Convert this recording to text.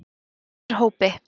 Norðurhópi